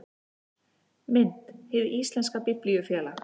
Mynd: Hið íslenska Biblíufélag